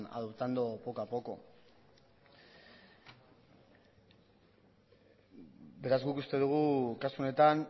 adoptando poco a poco beraz guk uste dugu kasu honetan